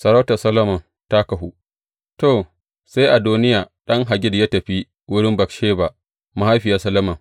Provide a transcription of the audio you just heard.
Sarautar Solomon ta kahu To, sai Adoniya, ɗan Haggit ya tafi wurin Batsheba mahaifiyar Solomon.